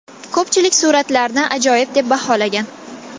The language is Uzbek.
Ko‘pchilik suratlarni ajoyib deb baholagan.